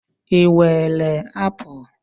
Ị were apụl?